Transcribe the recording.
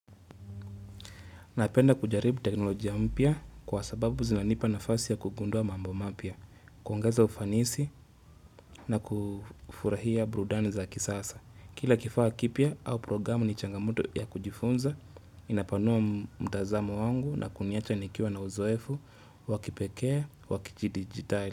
Napenda kujaribu teknolojia mpya kwa sababu zinanipa nafasi ya kugundua mambo mapya, kuongeza ufanisi na kufurahia burudani za kisasa. Kila kifaa kipya au programu ni changamoto ya kujifunza, inapanua mtazamo wangu na kuniacha nikiwa na uzoefu, wakipekee, wakiji dijitali.